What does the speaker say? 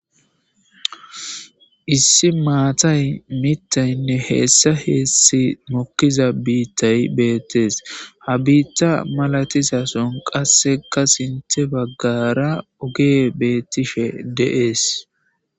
Issi maatay mittaynne heessa heessi mokkiza biittay beettees ha biitta malatisason qasseka sinte baggara ogee beettishe deees.